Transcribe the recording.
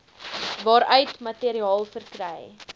waaruit materiaal verkry